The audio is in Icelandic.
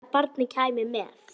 Best væri að barnið kæmi með.